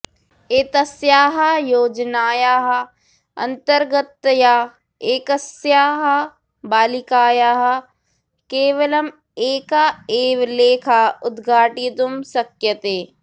एतस्याः योजनायाः अन्तर्गततया एकस्याः बालिकायाः केवलम् एका एव लेखा उद्घाटयितुं शक्यते